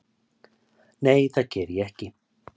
Nei það geri ég ekki.